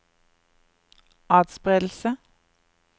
atspredelse